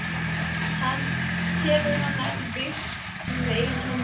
Hefur hann ekki byggt það með eigin höndum?